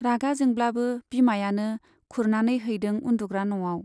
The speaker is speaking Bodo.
रागा जोंब्लाबो बिमायानो खुरनानै हैदों उन्दुग्रा न'आव।